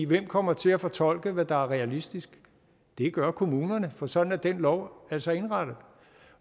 hvem kommer til at fortolke hvad der er realistisk det gør kommunerne for sådan er den lov altså indrettet